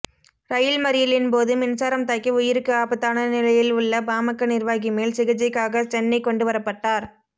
ரயில் மறியலின் போது மின்சாரம் தாக்கி உயிருக்கு ஆபத்தான நிலையில் உள்ள பாமக நிர்வாகி மேல் சிகிச்சைக்காக சென்னை கொண்டுவரபட்டார்